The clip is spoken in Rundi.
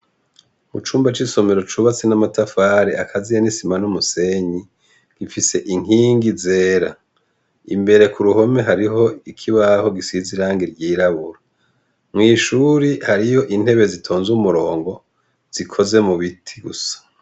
Mucumba c' isomero cubatse n' amatafari akaziye n' isima n' umusenyi, gifise inkingi zera imbere kuruhome hariho ikibaho gisize irangi ryirabura mwishure hariyo intebe zitonze kumurongo zikoze mubiti gusa.